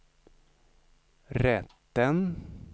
rätten